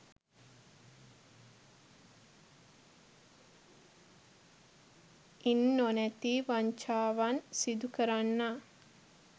ඉන් නොනැතී වංචාවන් සිදු කරන්නා